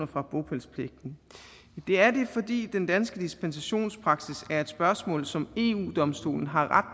fra bopælspligten det er det fordi den danske dispensationspraksis er et spørgsmål som eu domstolen har ret